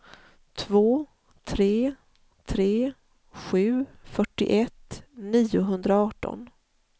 två tre tre sju fyrtioett niohundraarton